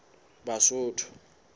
basotho